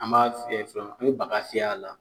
An b'a fiyɛ fɔlɔ an be baga fiy'a la